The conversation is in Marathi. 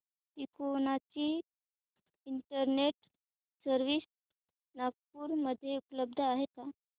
तिकोना ची इंटरनेट सर्व्हिस नागपूर मध्ये उपलब्ध आहे का